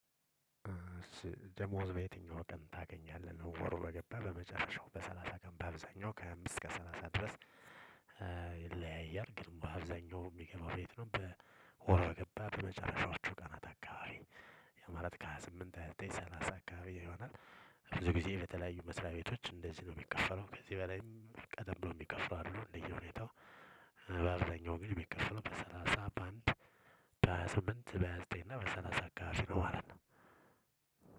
ደሞዝ በየትኛው ቀን ታገኛለህ ወር ወር ገባ በመጨረሻው በሰላሳ ቀን በአብዛኛው ከሃያ አምስት እስከ ሰላሳ ድረስ። ይለያያል ግን በአብዛኛው ሚገባው ቤት ነው። በ ወር በገባ በመጨረሻዎቹ ቀናት አካባቢ ያ ማለት ከሃያ ስምንት ሃያ ዘጠኝ ሰላሳ አካባቢ ይሆናል። ብዙ ጊዜ በተለያዩ መስሪያ ቤቶች እንደዚህ ነው ሚከፈለው ከዚህ በላይም ቀደም ብሎ ሚከፍሉ አይደሉም እንደዚህ ሁኔታው። በአብዛኛው ግን ሚከፈለው በሰላሳ በአንድ በሃያ ስምንት በሃያ ዘጠኝ እና በሰላሳ አካባቢ ነው። ማለት ነው።